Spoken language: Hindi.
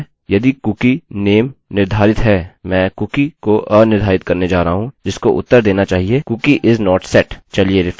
अब मानते हैं कि यह कह रहा है यदि कुकीcookie name निर्धारित है मैं कुकीcookie को अनिर्धारित करने जा रहा हूँ जिसको उत्तर देना चाहिए cookie is not set